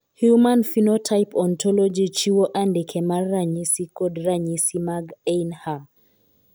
Human Phenotype Ontology chiwo andike mar ranyisi kod ranyisi mag Ainhum.